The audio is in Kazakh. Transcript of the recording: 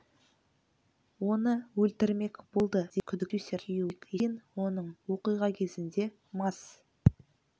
оны өлтірмек болды деген күдікпен продюсердің күйеуі бақытбек есентаев тұтқындылды кейін оның оқиға кезінде мас